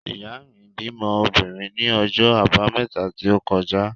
Ìyá mi bímọ obìnrin ní ọjọ́ Àbámẹ́ta tí ó kọjá.